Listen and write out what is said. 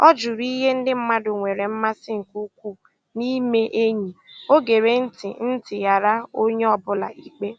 Ọ jụrụ ihe ndị mmadụ nwere mmasị nke ukwuu na-ime enyi, o gere ntị ntị ghara onye ọ bụla ikpe